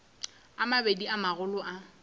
a mabedi a magolo a